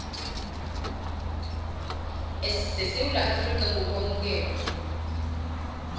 sesewula afrika ngokwamukelwa